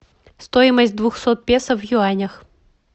стоимость двухсот песо в юанях